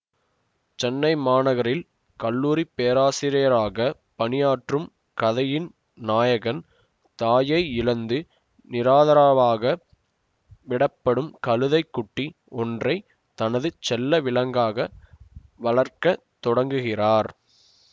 சென்னை மாநகரில் கல்லூரி பேராசியராக பணியாற்றும் கதையின் நாயகன் தாயை இழந்து நிராதரவாக விடப்படும் கழுத்தை குட்டி ஒன்றை தனது செல்ல விலங்காக வளர்க்க தொடங்குகிறார்